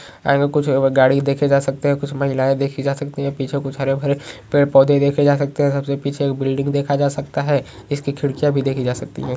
आगे कुछ गाड़ी देखे जा सकते हैं कुछ महिलाएं देखी जा सकती हैं पीछे कुछ हरे-भरे पेड़ पौधे देखे जा सकते हैं सबसे पीछे बिल्डिंग देखा जा सकता हैं इसकी खिड़कियाँ भी देखी जा सकती हैं।